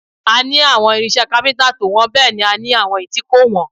A ní àwọn irinṣẹ́ kápíntà tó wọ́n bẹ́ẹ̀ ni a ní àwọn èyí tí kò wọ́n